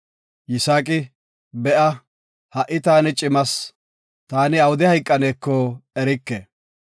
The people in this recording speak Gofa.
Yisaaqi, “Heko, ha7i taani cimas, taani awude hayqaneko erike.